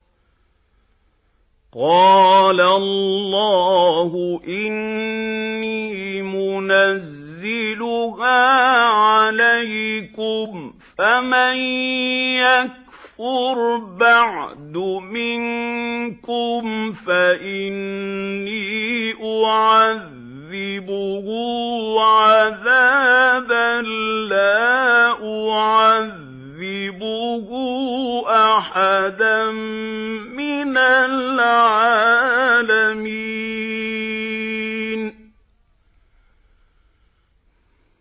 قَالَ اللَّهُ إِنِّي مُنَزِّلُهَا عَلَيْكُمْ ۖ فَمَن يَكْفُرْ بَعْدُ مِنكُمْ فَإِنِّي أُعَذِّبُهُ عَذَابًا لَّا أُعَذِّبُهُ أَحَدًا مِّنَ الْعَالَمِينَ